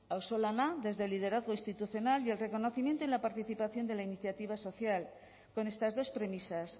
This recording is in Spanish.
auzolana desde el liderazgo institucional y el reconocimiento y la participación de la iniciativa social con estas dos premisas